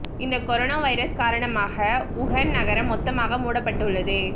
இந்த corona virus காரணமாக Wuhan நகரம் மொத்தமாக மூடப்பட்டுள்ளது